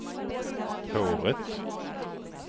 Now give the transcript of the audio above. håret